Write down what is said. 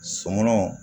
Sonɔnɔ